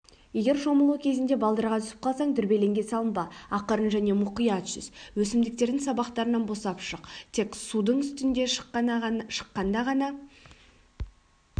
егер шомылу кезінде балдырға түсіп қалсаң дүрбелеңге салынба ақырын және мұқият жүз өсімдіктердің сабақтарынан босап шық тек судың үстіне шыққанда ғана